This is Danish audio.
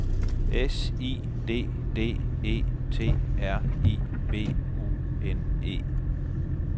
S I D D E T R I B U N E